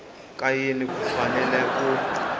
ka yini ku fanele ku